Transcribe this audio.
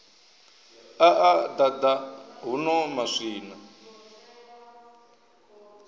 a a ḓaḓa huno maswina